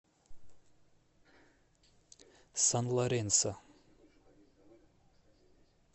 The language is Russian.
сан лоренсо